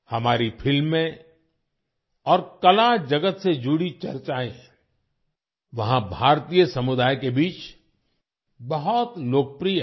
हमारी फिल्में और कला जगत से जुड़ी चर्चाएं वहाँ भारतीय समुदाय के बीच बहुत लोकप्रिय हैं